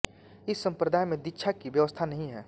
इस संप्रदाय में दीक्षा की व्यवस्था नहीं है